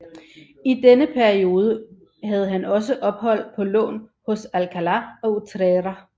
I denne periode havde han også ophold på lån hos Alcalá og Utrera